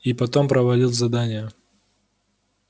и потом провалил задание